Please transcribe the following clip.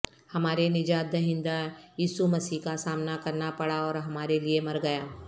ہمارے نجات دہندہ یسوع مسیح کا سامنا کرنا پڑا اور ہمارے لئے مر گیا